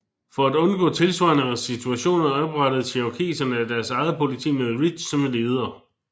For at undgå tilsvarende situationer oprettede cherokeserne deres eget politi med Ridge som leder